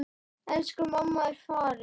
Elsku mamma er farin.